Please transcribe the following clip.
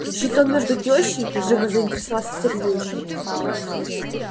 щитом между тёщей живо заинтересовался сергей